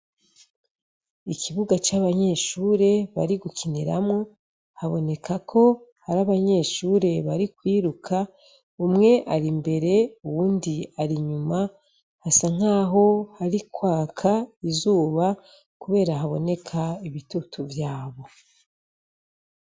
Ikibuga c'abanyeshure bari gukiniramwo, haboneka ko hari abanyeshure bari kwiruka, umwe ari imbere uwundi ari inyuma, hasa nkaho hari kwaka izuba kubera haboneka ibitutu vy'abo.